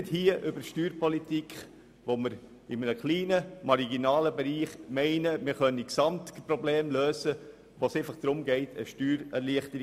Aber hier bei der Steuerpolitik, wo es in einem marginalen Bereich um eine Steuererleichterung geht, können wir die Gesamtprobleme nicht lösen.